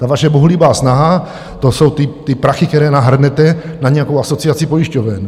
Ta vaše bohulibá snaha, to jsou ty prachy, které nahrnete na nějakou asociaci pojišťoven.